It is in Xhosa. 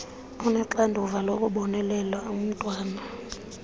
onoxanduva lokubonelela umntwana